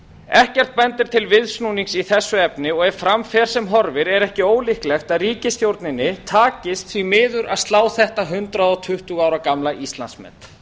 ekkert bendir til viðsnúnings í þessu efni og ef fram fer sem horfir er ekki ólíklegt að ríkisstjórninni takist því miður að slá þetta hundrað tuttugu ára gamla íslandsmet